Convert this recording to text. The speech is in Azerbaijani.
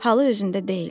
Halı özündə deyildi.